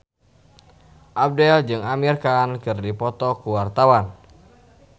Abdel jeung Amir Khan keur dipoto ku wartawan